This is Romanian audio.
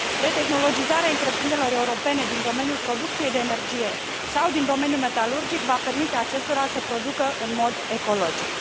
Retehnologizarea întreprinderilor europene din domeniul producției de energie sau din domeniul metalurgic va permite acestora să producă în mod ecologic.